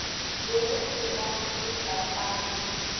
be go se na lešatana